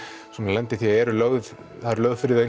lenda í því að það er lagt fyrir þau